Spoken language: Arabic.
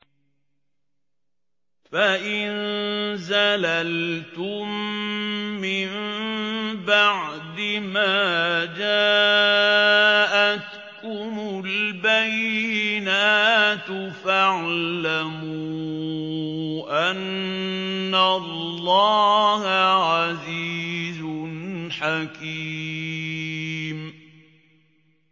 فَإِن زَلَلْتُم مِّن بَعْدِ مَا جَاءَتْكُمُ الْبَيِّنَاتُ فَاعْلَمُوا أَنَّ اللَّهَ عَزِيزٌ حَكِيمٌ